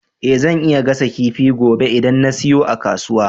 Eh zan iya gasa kifi gobe idan na siyo a kasuwa